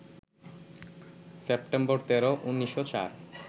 September ১৩, ১৯০৪